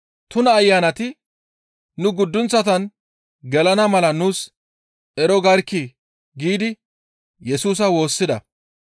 Tuna ayanati, «Nu guddunththatan gelana mala nuus ero garkkii?» giidi Yesusa woossida.